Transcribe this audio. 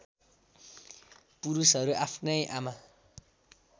पुरुषहरू आफ्नै आमा